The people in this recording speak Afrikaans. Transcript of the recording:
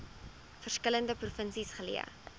verskillende provinsies geleë